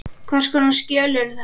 Hvers konar skjöl eru þetta?